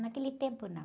Naquele tempo, não.